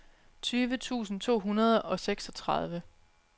tyve tusind to hundrede og seksogtredive